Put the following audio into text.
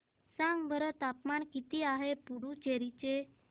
सांगा बरं तापमान किती आहे पुडुचेरी चे